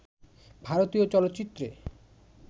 ভারতীয় চলচ্চিত্রে